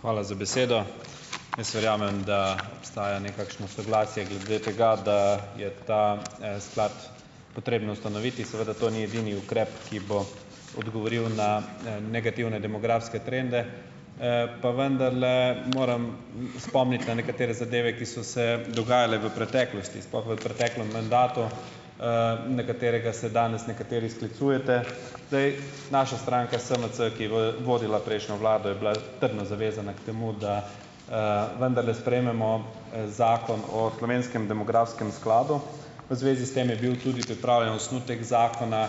Hvala za besedo . Jaz verjamem, da obstaja nekakšno soglasje glede tega, da je ta, sklad potrebno ustanoviti. Seveda to ni edini ukrep, ki bo odgovoril na, negativne demografske trende, pa vendarle moram spomniti na nekatere zadeve, ki so se dogajale v preteklosti, sploh v preteklem mandatu, na katerega se danes nekateri sklicujete. Zdaj, naša stranka SMC , ki je vodila prejšnjo vlado, je bila trdno zavezana k temu, da, vendarle sprejmemo, Zakon o slovenskem demografskem skladu. V zvezi s tem je bil tudi pripravljen osnutek zakona.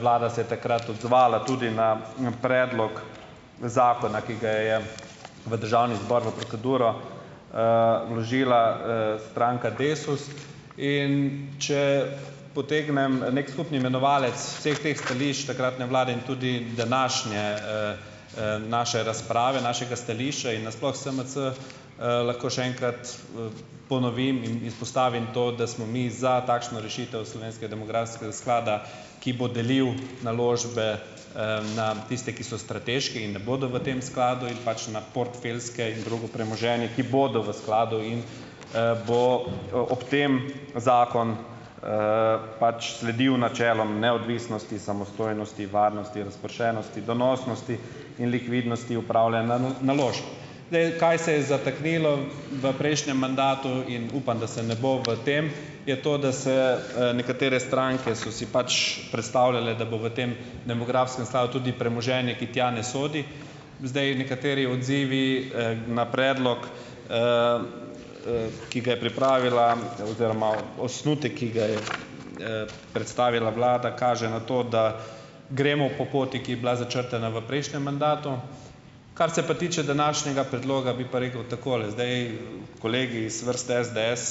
Vlada se je takrat odzvala tudi na, predlog zakona, ki ga je v državni zbor v proceduro, vložila, stranka Desus, in če potegnem neki skupni imenovalec vseh teh stališč takratne vlade, tudi današnje, naše razprave, našega stališča in na sploh SMC, lahko še enkrat, ponovim in izpostavim to, da smo mi za takšno rešitev slovenskega demografskega sklada, ki bo delil naložbe, na tiste , ki so strateške in ne bodo v tem skladu in pač na portfeljske, in drugo premoženje, ki bodo v skladu in, bo ob tem zakon, pač sledil načelom neodvisnosti, samostojnosti, varnosti, razpršenosti, donosnosti in likvidnosti upravljanja naložb. Zdaj, kaj se je zataknilo v prejšnjem mandatu in upam, da se ne bo v tem , je to, da se, nekatere stranke so si pač predstavljale, da bo v tem demografskem skladu tudi premoženje, ki tja ne sodi. Zdaj nekateri odzivi, na predlog, ki ga je pripravila oziroma osnutek, ki ga je, predstavila vlada kaže na to, da gremo po poti, ki je bila začrtana po prejšnjem mandatu. Kar se pa tiče današnjega predloga, bi pa rekel takole. Zdaj kolegi iz vrste SDS,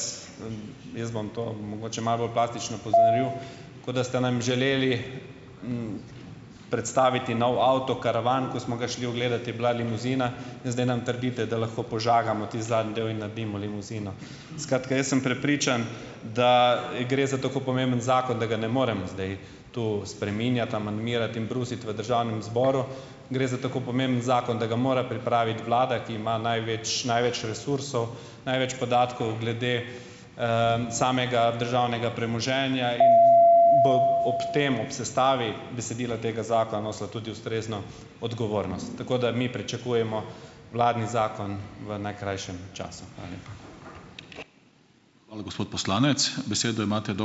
jaz bom to mogoče malo bolj plastično pozoril , kot da ste nam želeli, predstaviti nov avto, karavan, ko smo ga šli ogledat, je bila limuzina, in zdaj nam trdite, da lahko požagamo tisti zadnji del in naredimo limuzino. Skratka, jaz sem prepričan, da gre za tako pomemben zakon, da ga ne morem zdaj tu spreminjati, amandmirati in brusiti v državnem zboru. Gre za tako pomemben zakon, da ga mora pripraviti vlada, ki ima največ, največ resursov, največ podatkov glede, samega državnega premoženja in ob tem , ob sestavi besedila tega zakona nosila tudi ustrezno odgovornost. Tako da mi pričakujemo vladni zakon v najkrajšem času. Hvala lepa.